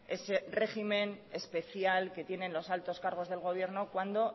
ese régimen especial que tienen los altos cargos del gobierno cuando